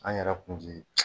An yɛrɛ kun